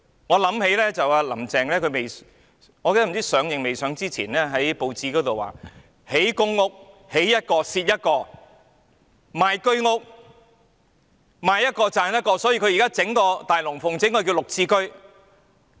我想起"林鄭"——我忘記是她上任前或上任後——曾在報章表示，興建公屋，建一個蝕一個；賣居屋，賣一個賺一個，所以現在要上演一場"大龍鳳"，推出"綠置居"。